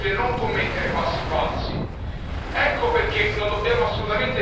È proprio adesso, colleghi, che dobbiamo essere più vigili e non commettere passi falsi.